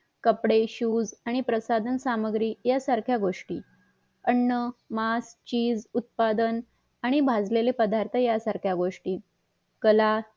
कपडे शुज आणि प्रसाधन सामग्री या सारख्या गोष्टी अन्न मास चीज उत्पादन आणि भाजलेलेपदार्थ या सारख्या गोष्टी कला